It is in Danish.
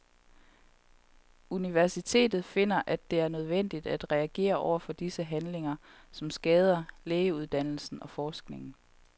Universitetet finder, at det er nødvendigt at reagere over for disse handlinger, som skader lægeuddannelsen og forskningen.